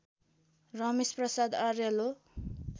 रमेश प्रसाद अर्याल हो